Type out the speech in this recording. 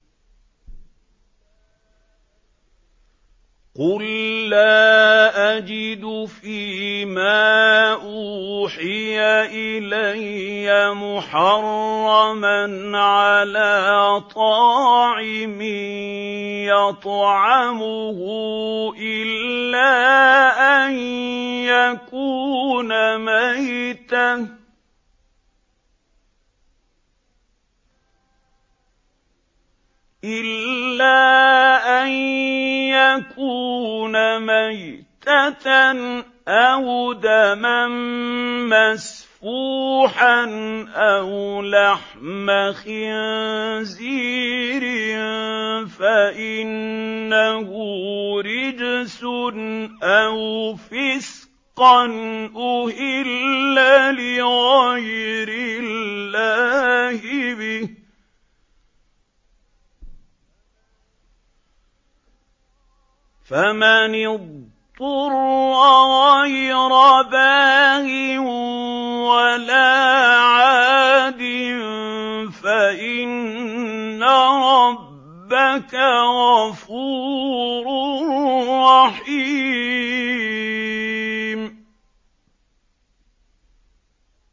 قُل لَّا أَجِدُ فِي مَا أُوحِيَ إِلَيَّ مُحَرَّمًا عَلَىٰ طَاعِمٍ يَطْعَمُهُ إِلَّا أَن يَكُونَ مَيْتَةً أَوْ دَمًا مَّسْفُوحًا أَوْ لَحْمَ خِنزِيرٍ فَإِنَّهُ رِجْسٌ أَوْ فِسْقًا أُهِلَّ لِغَيْرِ اللَّهِ بِهِ ۚ فَمَنِ اضْطُرَّ غَيْرَ بَاغٍ وَلَا عَادٍ فَإِنَّ رَبَّكَ غَفُورٌ رَّحِيمٌ